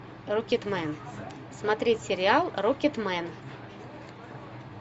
рокетмен смотреть сериал рокетмен